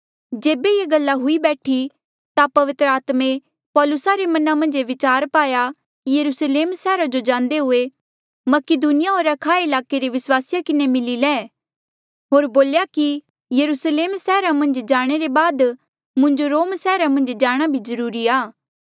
जेबे ये गल्ला हुई बैठी ता पवित्र आत्मे पौलुसा रे मना मन्झ ये बिचार पाया कि यरुस्लेम सैहरा जो जांदे हुए मकीदुनिया होर अखाया ईलाके रे विस्वासिया किन्हें मिली ले होर बोल्या कि यरुस्लेम सैहरा मन्झ जाणे रे बाद मुंजो रोम सैहरा मन्झ जाणा भी जरूरी आ